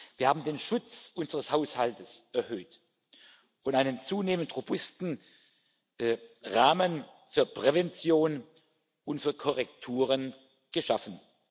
Wir haben den Schutz unseres Haushalts erhöht und einen zunehmend robusten Rahmen für Prävention und für Korrekturen geschaffen.